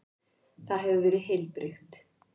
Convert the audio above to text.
Það hefur verið heilbrigt?